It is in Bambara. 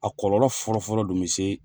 A kɔrɔ fɔlɔfɔlɔ dun bɛ se